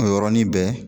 O yɔrɔnin bɛɛ